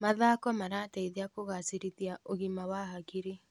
Mathako marateithia kũgacĩrithia ũgima wa hakiri.